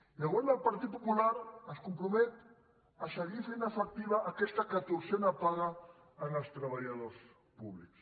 i el govern del partit popular es compromet a seguir fent efectiva aquesta catorzena paga als treba·lladors públics